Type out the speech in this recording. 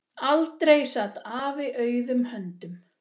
Aldrei sat afi auðum höndum.